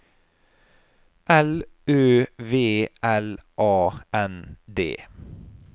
L Ø V L A N D